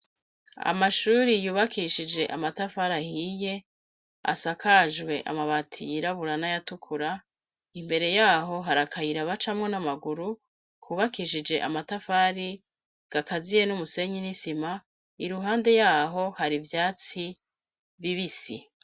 Amashuri yubakishije amatafari ahiye asakajwe amabati yirabura n'ayatukura imbere yaho hari akayiraba camwo n'amaguru kubakishije amatafari gakaziye n'umusenyi n'isima i ruhande yaho hari ivyatsi bibisi.